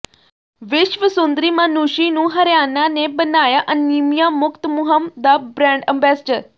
ਵਿਸ਼ਵ ਸੁੰਦਰੀ ਮਾਨੂਸ਼ੀ ਨੂੰ ਹਰਿਆਣਾ ਨੇ ਬਣਾਇਆ ਅਨੀਮੀਆ ਮੁਕਤ ਮੁਹਿੰਮ ਦਾ ਬ੍ਰਾਂਡ ਅੰਬੈਸਡਰ